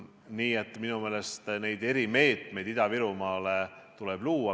Nii et minu meelest neid erimeetmeid Ida-Virumaale tuleb luua.